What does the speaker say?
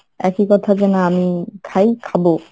একই কথা যেন আমি খাই খাবো।